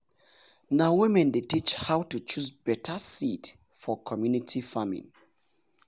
na women dey teach how to choose better seed for community farming.